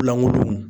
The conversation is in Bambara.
Lankolon